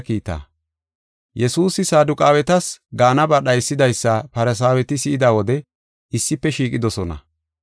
Yesuusi Saduqaawetas gaanaba dhaysidaysa Farsaaweti si7ida wode issife shiiqidosona.